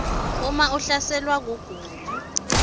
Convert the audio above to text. uma ungahlaselwa kugula